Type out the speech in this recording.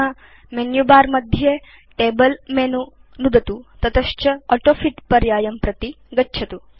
अधुना मेनुबर मध्ये table menu नुदतु ततश्च ऑटोफिट पर्यायं प्रति गच्छतु